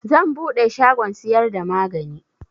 Zan buɗe shagon siyar da magani